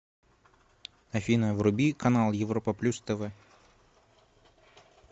афина вруби канал европа плюс тв